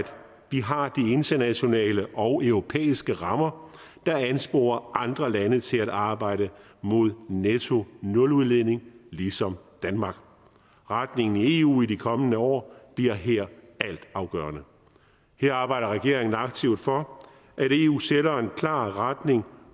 vi har de internationale og europæiske rammer der ansporer andre lande til at arbejde mod nettonuludledning ligesom danmark retningen i eu i de kommende år bliver her altafgørende her arbejder regeringen aktivt for at klar retning